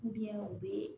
u bɛ